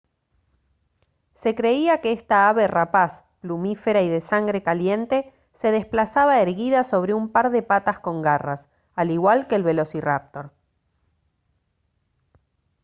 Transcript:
se creía que esta ave rapaz plumífera y de sangre caliente se desplazaba erguida sobre un par de patas con garras al igual que el velociráptor